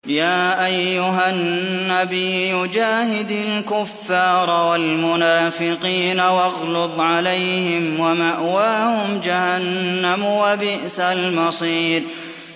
يَا أَيُّهَا النَّبِيُّ جَاهِدِ الْكُفَّارَ وَالْمُنَافِقِينَ وَاغْلُظْ عَلَيْهِمْ ۚ وَمَأْوَاهُمْ جَهَنَّمُ ۖ وَبِئْسَ الْمَصِيرُ